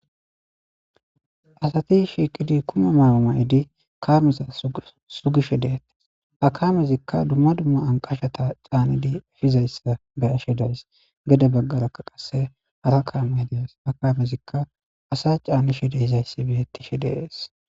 Asati shiiqidi kume maaamay'idi kaameza sugishe deete akamezikka dumma dumma an qashata caanidi efizayssa be ashe days gede baggarakka qasse hara kaamay dees akamezikka asa caanishe de hizayssi birettishe dees.